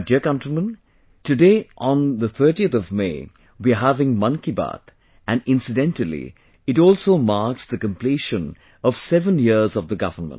My dear countrymen, today on 30th May we are having 'Mann Ki Baat' and incidentally it also marks the completion of 7 years of the government